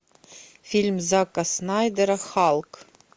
фильм зака снайдера халк